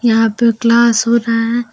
यहां पे क्लास हो रहा है।